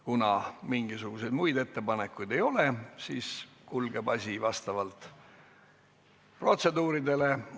Kuna muid ettepanekuid ei ole, siis kulgeb asi vastavalt protseduurile.